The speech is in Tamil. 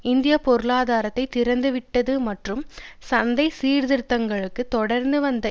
இந்திய பொருளாதாரத்தை திறந்துவிட்டது மற்றும் சந்தை சீர்த்திருத்தங்களுக்கு தொடர்ந்து வந்த